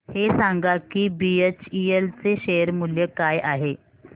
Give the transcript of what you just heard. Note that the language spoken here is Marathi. हे सांगा की बीएचईएल चे शेअर मूल्य काय आहे